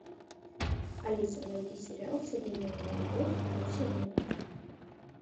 алиса найди сериал современная любовь второй сезон